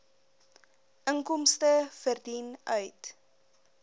inkomste verdien uit